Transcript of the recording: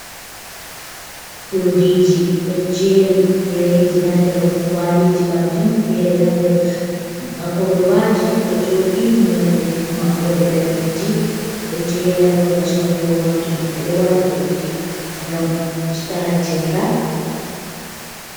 Urdiji ɗo jeri fereji ha nder kwaliji majum, fere hander kolobaji ɗo joɗi nolde maɓɓo de daneji, ɗo jeri hababal sorrugo majum, ɓeɗo wata urdi ngam usta haccega.